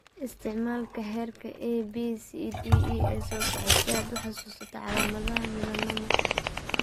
Isticmaal xeerka ABCDE ee soo socda si aad u xasuusato calaamadaha melanoma.